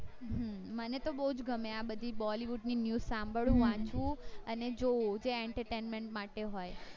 હમ મને તો બૌ ગમે આ બધી bollywood ની news સંભાળવું વાંચવું અને જોવું કે entertainment માટે હોઈ